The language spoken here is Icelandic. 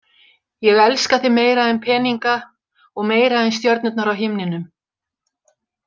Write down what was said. Ég elska þig meira en peninga og meira en stjörnurnar á himninum.